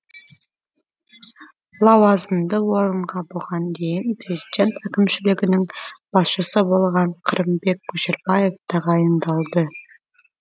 лауазымды орынға бұған дейін президент әкімшілігінің басшысы болған қырымбек көшербаев тағайындалды